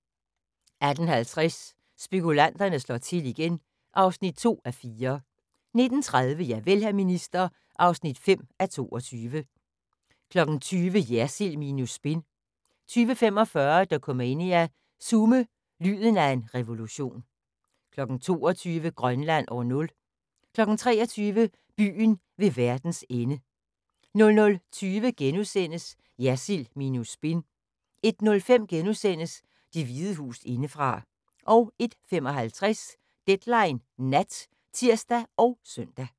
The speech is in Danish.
18:50: Spekulanterne slår til igen (2:4) 19:30: Javel, hr. minister (5:22) 20:00: Jersild minus spin 20:45: Dokumania: Sume – lyden af en revolution 22:00: Grønland år 0 23:00: Byen ved verdens ende 00:20: Jersild minus spin * 01:05: Det Hvide Hus indefra * 01:55: Deadline Nat (tir og søn)